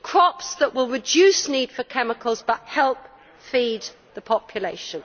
Crops that will reduce the need for chemicals but help feed the population.